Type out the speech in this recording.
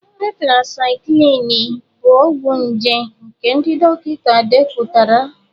Tetracịclịn bụ ọgwụ nje nke ndị dọkịta depụtara.